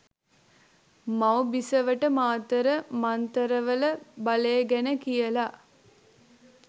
මව් බිසවට මාතර මංතරවල බලේ ගැන කියලා